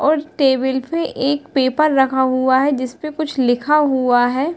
और टेबल पे एक पेपर रख हुआ है जिसपे कुछ लिखा हुआ है।